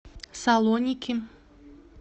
салоники